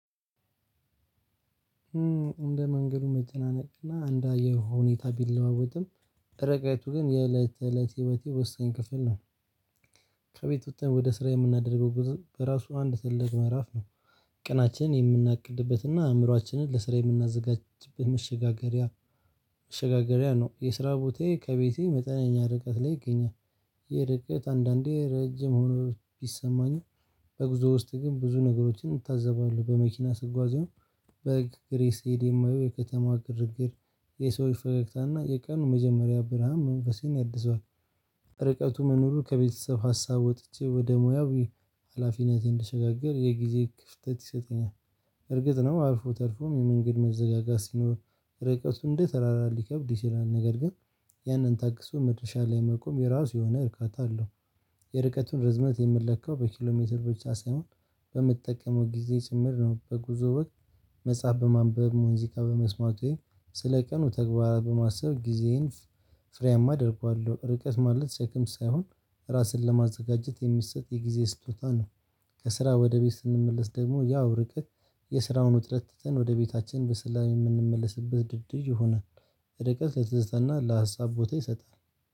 እንደ መንገዱ መጨናነቅ እና እንደ አየሩ ሁኔታ ቢለዋወጥም ርቀቱ ግን የእለት ተእለት የህይወቴ ወሳኝ ክፍል ነው። ከቤት ወጥተን ወደ ስራ የምናደርገው ጉዞ በራሱ አንድ ትልቅ ምዕራፍ ነው። ቀናችን የምናቅድበትና አእምሮአችንን ለስራ የምናዘጋጅበት። መሸጋገሪያ ነው የስራ ቦታዬ ከቤቴ መጠነኛ ርቀት ላይ ይገኛል። ይህ ርቀት አንዳንዴ ረጅም ሆኖ ቢሰማኝም። በጉዞ ውስጥ ግን ብዙ ነገሮችን እንታዘባለን በመኪና ስጓዝም በእግሬ ስሄድ የማየው የከተማ ግርግር የሰዎች ፈገግታ እና የቀኑ መጀመሪያ ብርሃን መንፈሴን ያድሰዋል። ርቀቱ መኖሩ ከቤተሰብ ሀሳብ ወጥቼ ወደ ሙያዊ ሀላፊነቴ እንድሸጋገር የጊዜ ክፍተት ይሰጠኛል። እርግጥ ነው አልፎ ተርፎም የመንገድ መዘጋጋት ሲኖር። ርቀቱ እንደ ተራራ ሊከብድ ይችላል ነገር ግን። ያንን ታግሶ መድረሻ ላይ መቆም የራሱ የሆነ እርካታ አለው። የርቀቱን ርዝመት የምለካው በኪሎሜትር ብቻ ሳይሆን በምትጠቀመው ጊዜ ጭምር ነው። በጉዞ ወቅት መጽሐፍ በማንበብ ሙዚቃ በመስማት ወይም ስለ ቀኑ ተግባራት በማሰብ ጊዜዬን ፍ ፍሬያማ አደርገዋለሁ። ርቀት ማለት ሰክም ሳይሆን ራስን ለማዘጋጀት የሚሰጥ የጊዜ ስጦታ ነው። ከስራ ወደ ቤት ስንመለስ ደግሞ ያው ርቀት የስራውን ውጥረት ትተን ወደ ቤታችን በሠላም የምንመለስበት ድልድይ ይሆናል። ርቀት ለትዝታና ለሀሳብ ቦታ ይሰጣል።